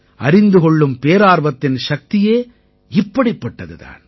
அறிந்து கொள்ளும் பேரார்வத்தின் சக்தியே இப்படிப்பட்டது தான்